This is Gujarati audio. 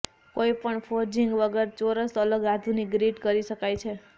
કોઈપણ ફોર્જિંગ વગર ચોરસ અલગ આધુનિક ગ્રીડ કરી શકાય છે